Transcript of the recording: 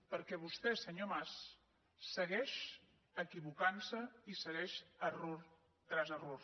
perquè vostè senyor mas segueix equivocant se i segueix error tras error